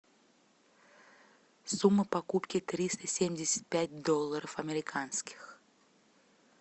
сумма покупки триста семьдесят пять долларов американских